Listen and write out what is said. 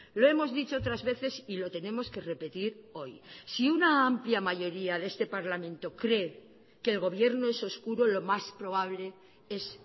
lo hemos dicho otras veces y lo tenemos que repetir hoy si una amplia mayoría de este parlamento cree que el gobierno es oscuro lo más probable es